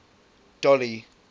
dolly